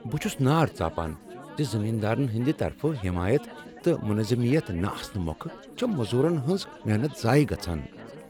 بہٕ چُھس نار ژاپان ز زمیندارن ہنٛد طرفہٕ حٮ۪مایت تہٕ مُنظمیت نہٕ آسنہٕ موكھہٕ چھےٚ موٚزوٗرن ہنٛز محنت ضایع گژھان۔